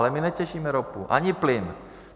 Ale my netěžíme ropu ani plyn.